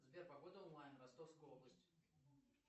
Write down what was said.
сбер погода онлайн ростовская область